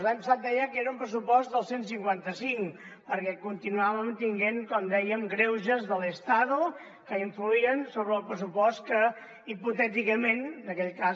l’any passat deia que era un pressupost del cent i cinquanta cinc perquè continuàvem tenint com dèiem greuges de l’estado que influïen sobre el pressupost que hipotèticament en aquell cas